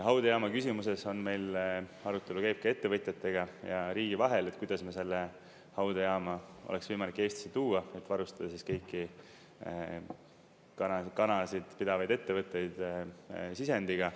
Haudejaama küsimuses on meil, arutelu käib ka ettevõtjatega ja riigi vahel, et kuidas me selle haudejaama oleks võimalik Eestisse tuua, et varustada kõiki kanasid pidavaid ettevõtteid sisendiga.